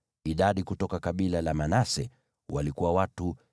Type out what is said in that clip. Idadi kutoka kabila la Manase walikuwa watu 32,200.